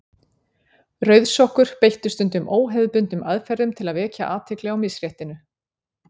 Rauðsokkur beittu stundum óhefðbundnum aðferðum til að vekja athygli á misréttinu.